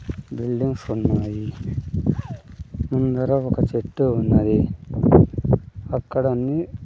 buildings ఉన్నాయి ముందర ఒక చెట్టు ఉన్నది అక్కడ అన్ని--